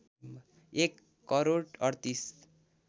१ crore ३८